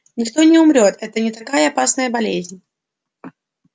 никто не умрёт это не такая опасная болезнь